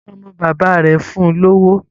Ọmọ bàbá rẹ̀ fún un lówó.